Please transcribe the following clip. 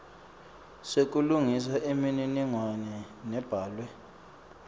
sekulungisa imininingwane lebhalwe